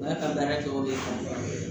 O y'a ka baara kɛ o de kama